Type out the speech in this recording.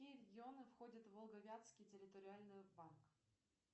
какие регионы входят в волго вятский территориальный банк